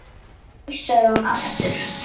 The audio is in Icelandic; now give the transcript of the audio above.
Nei, sagði hún aftur.